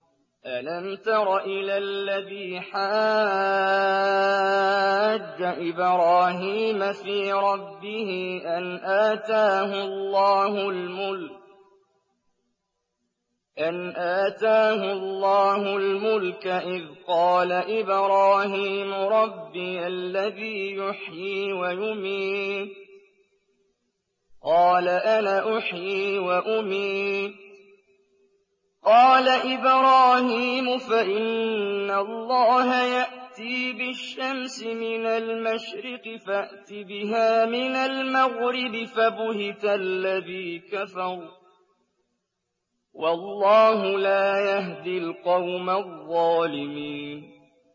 أَلَمْ تَرَ إِلَى الَّذِي حَاجَّ إِبْرَاهِيمَ فِي رَبِّهِ أَنْ آتَاهُ اللَّهُ الْمُلْكَ إِذْ قَالَ إِبْرَاهِيمُ رَبِّيَ الَّذِي يُحْيِي وَيُمِيتُ قَالَ أَنَا أُحْيِي وَأُمِيتُ ۖ قَالَ إِبْرَاهِيمُ فَإِنَّ اللَّهَ يَأْتِي بِالشَّمْسِ مِنَ الْمَشْرِقِ فَأْتِ بِهَا مِنَ الْمَغْرِبِ فَبُهِتَ الَّذِي كَفَرَ ۗ وَاللَّهُ لَا يَهْدِي الْقَوْمَ الظَّالِمِينَ